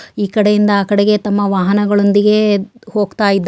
ಈ ಕಡೆಯಿಂದ ಆ ಕಡೆ ತಮ್ಮ ವಾಹನಗಳೊಂದಿಗೆ ಹೋಗ್ತಾ ಇದ್ದಾರೆ.